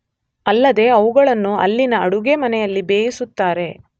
ಅಲ್ಲದೇ ಅವುಗಳನ್ನು ಅಲ್ಲಿನ ಅಡುಗೆ ಮನೆಯಲ್ಲಿ ಬೇಯಿಸುತ್ತಾರೆ.